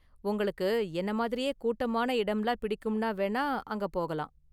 உங்களுக்கு என்ன மாதிரியே கூட்டமான இடம்லாம் பிடிக்கும்னா வேணா அங்க போகலாம்.